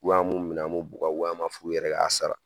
an b'u minɛ, an b'u bukɔ, an b'a fɔ k'u yɛrɛ ka sara .